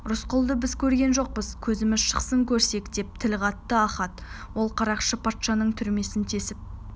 рысқұлды біз көрген жоқпыз көзіміз шықсын көрсек деп тіл қатты ахат ол қарақшы патшаның түрмесін тесіп